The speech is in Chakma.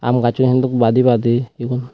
aam gasaun hintu badi badi egun.